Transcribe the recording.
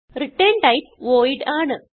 return type void ആണ്